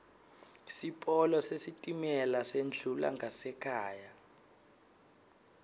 sipolo sesitimela sendlula ngasekhaya